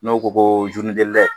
N'u ko ko